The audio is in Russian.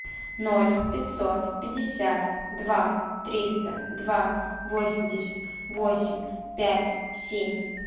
ноль пятьсот пятьдесят два триста два восемьдесят восемь пять семь